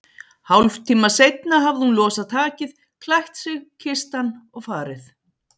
Hálftíma seinna hafði hún losað takið, klætt sig, kysst hann og farið.